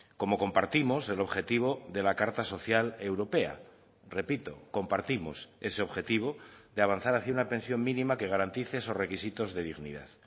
como compartimos el objetivo de la carta social europea repito compartimos ese objetivo de avanzar hacia una pensión mínima que garantice esos requisitos de dignidad